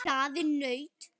Hraðinn nautn.